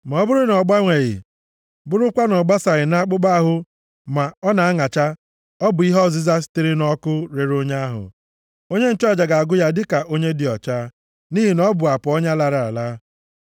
Ma ọ bụrụ na ọ gbanweghị, bụrụkwa na ọ basaghị nʼakpụkpọ ahụ ma ọ na-aṅacha, ọ bụ ihe ọzịza sitere nʼọkụ rere onye ahụ, onye nchụaja ga-agụ ya dịka onye dị ọcha, nʼihi na ọ bụ apa ọnya lara ala.